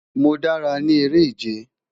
Mo dara ni ere-ije